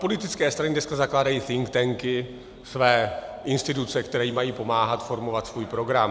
Politické strany dneska zakládají think tank, své instituce, které jim mají pomáhat formovat svůj program.